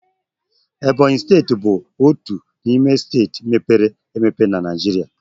Ebonyị steeti bụ otu n'ime steeti mepere emepe na Naịjirịa.